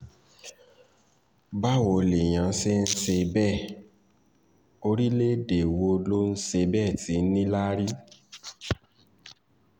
báwo lèèyàn ṣe ń ṣe bẹ́ẹ̀ orílẹ̀-èdè wo ló ń ṣe bẹ́ẹ̀ tí ì níláárí